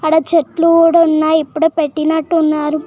అడ చెట్లు కూడా ఉన్నాయి ఇప్పుడే పెట్టినట్టు ఉన్నారు.